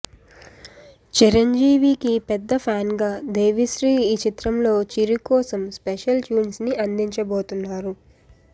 చిరంజీవి కి పెద్ద ఫ్యాన్ గా దేవిశ్రీ ఈ చిత్రం లో చిరు కోసం స్పెషల్ ట్యూన్స్ ని అందించబోతున్నారు